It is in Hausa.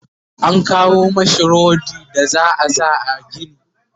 an kawo mashi rodi da za'a sa a gini